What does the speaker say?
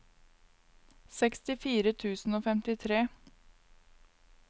sekstifire tusen og femtitre